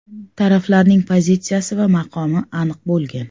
Taraflarning pozitsiyasi va maqomi aniq bo‘lgan.